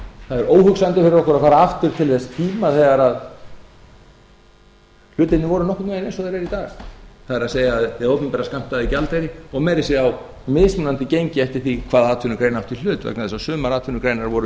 það er óhugsandi fyrir okkur að fara aftur til þess tíma þegar hlutirnir voru nokkurn veginn eins og þeir eru í dag það er hið opinbera skammtaði gjaldeyri og meira að segja á mismunandi gengi eftir því hvaða atvinnugrein átti í hlut vegna þess að sumar atvinnugreinar voru